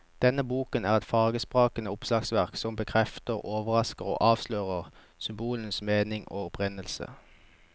Denne boken er et fargesprakende oppslagsverk som bekrefter, overrasker og avslører symbolenes mening og opprinnelse.